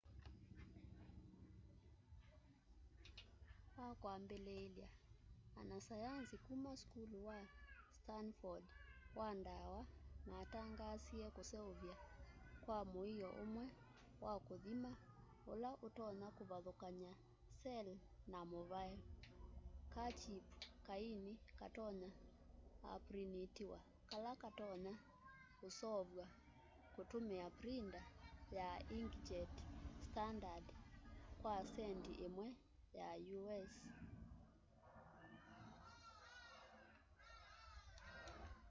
wakwambiliilya anasayanzi kuma sukulu wa stanford wa dawa matangaasie kuseuvya kwa muio mweu wa kuthima ula utonya kuvathukanya cell na muvae : kachip kaini katonya uprinitiwa kala katonya usoovwa kutumia printa ya inkjet standard kwa centi imwe ya u.s